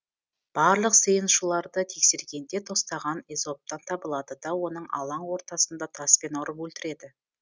барлық сыйынушыларды тексергенде тостаған эзоптан табылады да оны алаң ортасында таспен ұрып өлтіреді